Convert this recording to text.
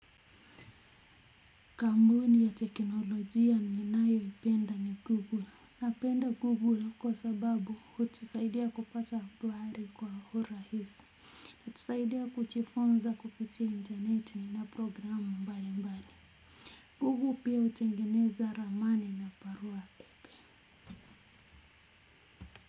Kampuni ya teknolojia ninayoipenda ni Google. Napenda Google kwa sababu hutusaidia kupata habari kwa urahisi. Hutusaidia kujifunza kuhusu intaneti na programu mbalimbali. Google pia hutengeneza ramani na barua pepe.